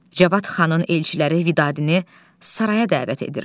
Cavad xanın elçiləri Vidadini saraya dəvət edirlər.